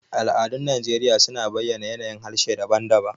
Al'adun Najeriya suna bayyana a yanayin harshe daban-daban.